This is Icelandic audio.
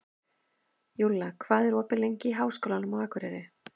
Júlla, hvað er opið lengi í Háskólanum á Akureyri?